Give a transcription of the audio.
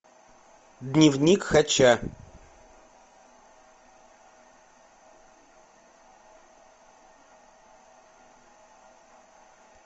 дневник хача